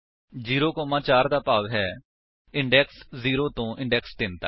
0 4 ਦਾ ਭਾਵ ਹੈ ਇੰਡੇਕਸ 0 ਤੋ ਇੰਡੇਕਸ 3 ਤੱਕ